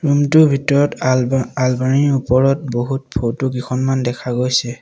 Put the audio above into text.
Room টোৰ ভিতৰত আলমা অলমাৰীৰ ওপৰত বহুত ফটো কেইখনমান দেখা গৈছে।